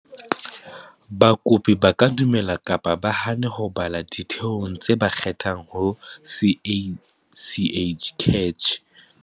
Bakopi ba ka dumela kapa ba hane ho bala ditheong tse ba kgethang ho CACH.